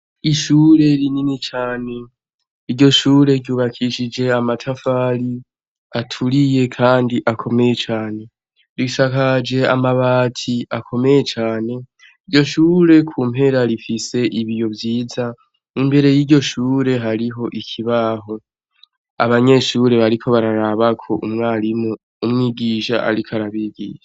Ishure rinini cane. Iryo shure ryubakishije amatafari aturiye kandi akomeye cane. Risakaje amabati akomeye cane. Iryo shure ku mpera rifise ibiyo vyiza, imbere y'iryo shure hariho ikibaho. Abanyeshure bariko baraba ko umwigisha ariko arabigisha.